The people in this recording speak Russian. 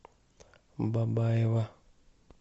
бабаево